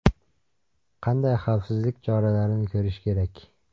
Qanday xavfsizlik choralarini ko‘rish kerak?